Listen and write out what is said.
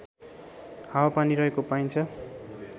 हावापानी रहेको पाइन्छ